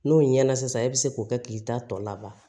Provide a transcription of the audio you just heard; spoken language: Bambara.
N'o ɲɛna sisan e bi se k'o kɛ k'i ta tɔ laban